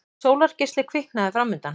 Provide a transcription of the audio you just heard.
Sólargeisli kviknaði framundan.